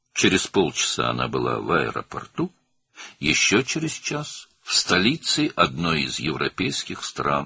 Yarım saat sonra o, aeroportda idi, daha bir saat sonra isə Avropa ölkələrindən birinin paytaxtında.